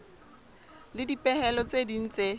le dipehelo tse ding tse